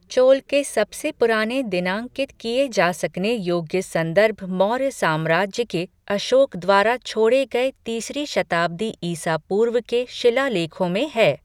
चोल के सबसे पुराने दिनांकित किए जा सकने योग्य संदर्भ मौर्य साम्राज्य के अशोक द्वारा छोड़े गए तीसरी शताब्दी ईसा पूर्व के शिलालेखों में है।